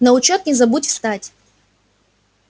на учёт не забудь встать